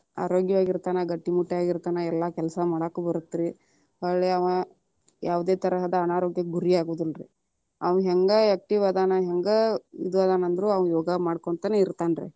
ಆರೋಗ್ಯವಾಗಿ ಇರ್ತನ ಗಟ್ಟಿ ಮುಟ್ಟಾಗಿ ಇರ್ತಾನ, ಎಲ್ಲಾ ಕೆಲಸ ಮಾಡಕ್ಕೂ ಬರತ್ತ ರೀ, ಹೊಳ್ಳಿ ಅವಾ ಯಾವುದೇ ತರಹದ ಅನಾರೋಗ್ಯಕ್ಕ ಗುರಿಯಾಗುದಿಲ್ಲಾರೀ, ಅವಾ ಹೆಂಗ active ಅದಾನ ಹೆಂಗ ಇದು ಅದಾನ ಅಂದ್ರ ಅವ ಯೋಗ ಮಾಡ್ಕೊಂತ ಇರ್ತಾನ ರೀ.